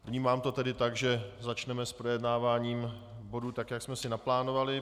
Vnímám to tedy tak, že začneme s projednáváním bodů tak, jak jsme si naplánovali.